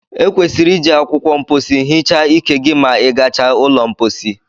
Ekwesịrị iji akwụkwọ mposi hichaa ike gị ma i gachaa ụlọ mposi